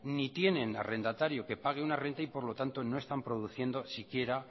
ni tienen arrendatario que pague una renta y por lo tanto no están produciendo siquiera